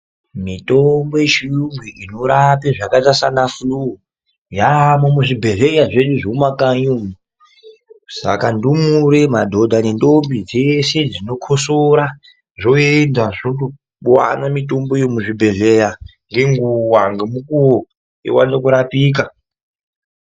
Mitombo yechiyungu inorape zvakaita sebesha mupengo yaiyo mumakanyi mwenyu umu. Saka ndumure, madhodha nentombi zvese zvinokosora zvoenda zvovane mitombo yemuzvibhedhlera ngenguva ,nemukuvo zvivane kubetsereka.